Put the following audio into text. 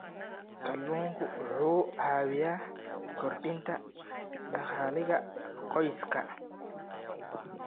Kalluunku wuxuu caawiyaa kordhinta dakhliga qoyska.